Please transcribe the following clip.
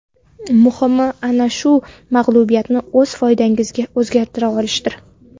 Muhimi, ana shu mag‘lubiyatni o‘z foydangizga o‘zgartira olishdir.